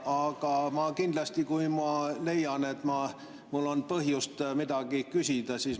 Aga ma kindlasti, kui ma leian, et mul on põhjust midagi küsida.